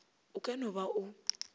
o ka no ba o